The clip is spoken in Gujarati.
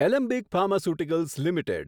Alembic pharmaceuticals limited